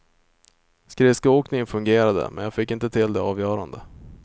Skridskoåkningen fungerade men jag fick inte till det avgörande.